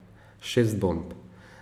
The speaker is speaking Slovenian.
Šest bomb.